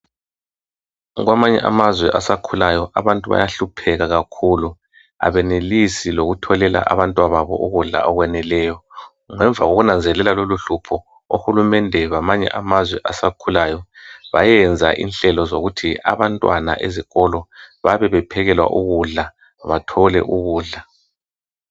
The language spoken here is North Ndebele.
Kwamanye amazwe asakhulayo abantu bayahlupheka kakhulu, abanelisi lokutholela abantwana babo ukudla okwaneleyo. Ngemva kokunanzelela lolohlupho, ohulumende bamanye amazwe asakhulayo bayenza inhlelo zokuthi abantwana abasakhulayo ezikolo babebephekewa ukudla bathole ukudla.